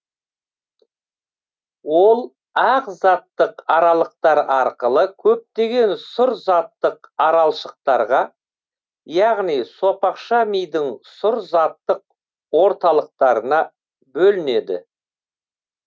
ол ақ заттық аралықтар арқылы көптеген сұр заттық аралшықтарға яғни сопақша мидың сұр заттық орталықтарына бөлінеді